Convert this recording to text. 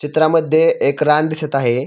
चित्रामध्ये एक रान दिसत आहे.